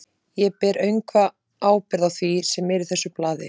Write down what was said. Ég ber öngva ábyrgð á því, sem er í þessu blaði.